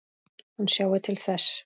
Hún sjái til þess.